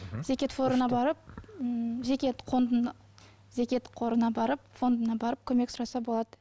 зекет барып м зекет зекет қорына барып фондына барып көмек сұраса болады